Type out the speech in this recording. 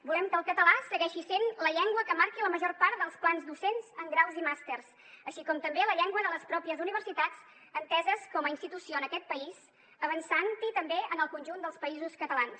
volem que el català segueixi sent la llengua que marqui la major part dels plans docents en graus i màsters així com també la llengua de les pròpies universitats enteses com a institució en aquest país avançant també en el conjunt dels països catalans